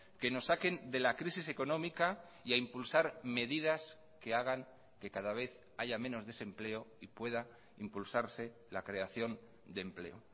que nos saquen de la crisis económica y a impulsar medidas que hagan que cada vez haya menos desempleo y pueda impulsarse la creación de empleo